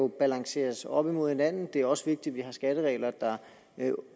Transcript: balanceres op imod hinanden det er også vigtigt at vi har skatteregler der